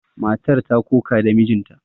Matar ta ƙoƙa da mijinta.